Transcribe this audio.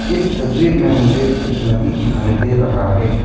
इस तस्वीर में मुझे एक नदी दिखाई दे रहा है।